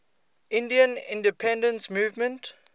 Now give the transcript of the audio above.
indian independence movement